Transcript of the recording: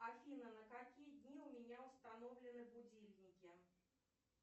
афина на какие дни у меня установлены будильники